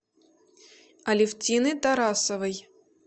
алевтины тарасовой